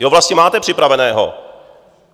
Jo vlastně máte připraveného.